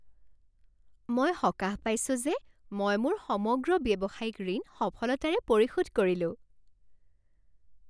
মই সকাহ পাইছো যে মই মোৰ সমগ্ৰ ব্যৱসায়িক ঋণ সফলতাৰে পৰিশোধ কৰিলোঁ।